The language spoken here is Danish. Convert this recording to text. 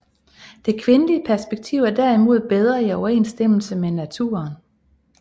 Det kvindelige perspektiv er derimod bedre i overensstemmelse med naturen